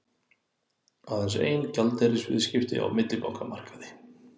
Aðeins ein gjaldeyrisviðskipti á millibankamarkaði